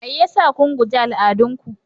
Mai yasa kun guje al'adun ku?